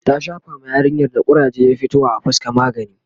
ta Shafa ma yarinyar da kuraje ya fito wa a fuska magani